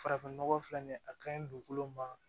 Farafinnɔgɔ filɛ nin ye a ka ɲi dugukolo ma